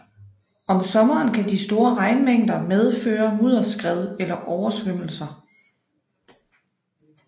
Om sommeren kan de store regnmængder medføre mudderskred eller oversvømmelser